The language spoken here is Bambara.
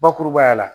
Bakurubaya la